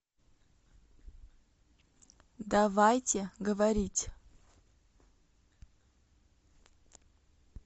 давайте говорить